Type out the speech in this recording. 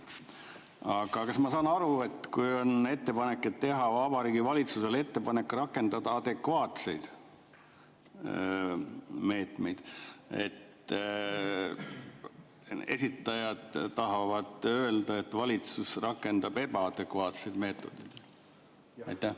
Aga kas ma saan aru, et kui on ettepanek teha Vabariigi Valitsusele ettepanek rakendada adekvaatseid meetmeid, siis esitajad tahavad öelda, et valitsus rakendab ebaadekvaatseid meetmeid?